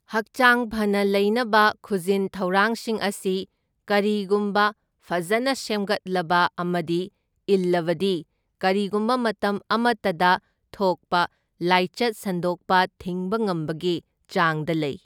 ꯍꯛꯆꯥꯡ ꯐꯅ ꯂꯩꯅꯕ ꯈꯨꯖꯤꯟꯊꯧꯔꯥꯡꯁꯤꯡ ꯑꯁꯤ ꯀꯔꯤꯒꯨꯝꯕ ꯐꯖꯅ ꯁꯦꯝꯒꯠꯂꯕ ꯑꯃꯗꯤ ꯏꯜꯂꯕꯗꯤ ꯀꯔꯤꯒꯨꯝꯕ ꯃꯇꯝ ꯑꯃꯇꯗ ꯊꯣꯛꯄ ꯂꯥꯢꯆꯠ ꯁꯟꯗꯣꯛꯄ ꯊꯤꯡꯕ ꯉꯝꯕꯒꯤ ꯆꯥꯡꯗ ꯂꯩ꯫